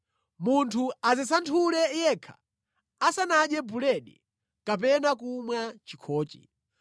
Munthu adzisanthule yekha asanadye buledi kapena kumwa chikhochi.